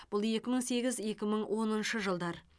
бұл екі мың сегіз екі мың оныншы жылдар